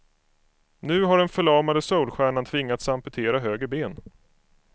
Nu har den förlamade soulstjärnan tvingats amputera höger ben.